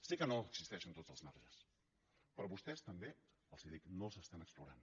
sé que no existeixen tots els marges però a vostès també els ho dic no els estan explorant